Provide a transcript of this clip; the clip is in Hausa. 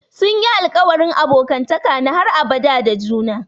Sun yi alƙawarin abokantaka na har abada da juna.